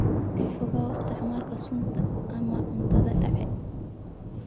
Ka fogow isticmaalka sunta ama cuntada dhacay.